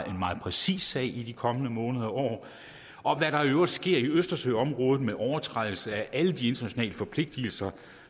en meget præcis sag i de kommende måneder og år og hvad der i øvrigt sker i østersøområdet med overtrædelse af alle de internationale forpligtelser